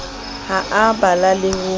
ha a bala le ho